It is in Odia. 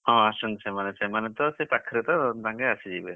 ହଁ ଆସୁଛନ୍ତି ସେମାନେ ସେମାନେତ ସେ ପାଖରେତ ତାଙ୍କେ ଆସିଯିବେ।